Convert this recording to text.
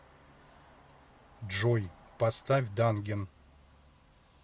джой поставь данген